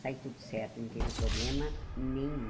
Saiu tudo certo, não teve problema nenhum.